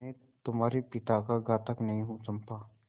मैं तुम्हारे पिता का घातक नहीं हूँ चंपा